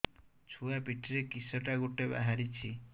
ଛୁଆ ପିଠିରେ କିଶଟା ଗୋଟେ ବାହାରିଛି